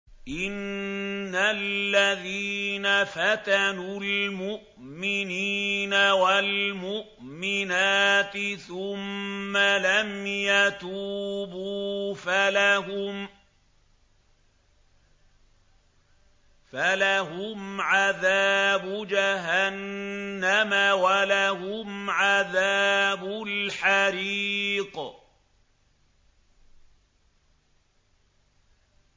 إِنَّ الَّذِينَ فَتَنُوا الْمُؤْمِنِينَ وَالْمُؤْمِنَاتِ ثُمَّ لَمْ يَتُوبُوا فَلَهُمْ عَذَابُ جَهَنَّمَ وَلَهُمْ عَذَابُ الْحَرِيقِ